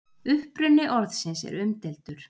uppruni orðsins er umdeildur